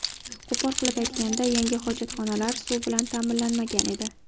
Qo‘pol qilib aytganda, yangi hojatxonalar suv bilan ta’minlanmagan edi.